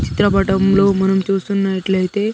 చిత్ర పటం లో మనం చూస్తునట్లేయితే.